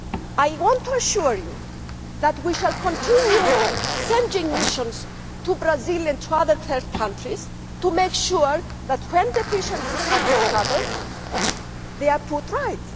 I want to assure you that we shall continue sending missions to Brazil and to other third countries to make sure that when deficiencies are discovered, they are put right.